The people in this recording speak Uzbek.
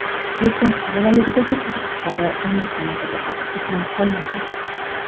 Lekin bolaligidagi qiziqishlari uning san’atida aks etmay qolmagan.